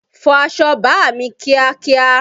Fọ aṣọ bàámi kíákíá!